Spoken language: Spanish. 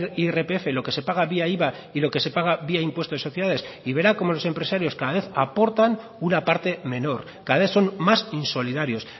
vía irpf lo que se paga vía iva y lo que se paga vía impuesto de sociedades y verá cómo los empresarios cada vez aportan una parte menor cada vez son más insolidarios